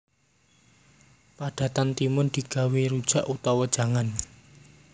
Padatan timun digawé rujak utawa jangan